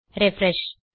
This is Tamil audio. ரிஃப்ரெஷ்